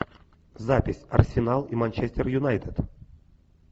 запись арсенал и манчестер юнайтед